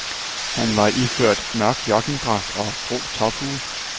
Han var iført mørk joggingdragt og grå tophue.